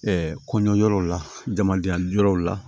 Ɛɛ kɔɲɔ yɔrɔw la jamadenya di yɔrɔw la